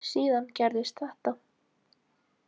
Síðan gerðist þetta.